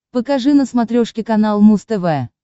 покажи на смотрешке канал муз тв